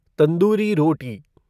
tandoori रोटी